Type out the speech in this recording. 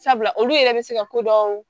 Sabula olu yɛrɛ bɛ se ka ko dɔn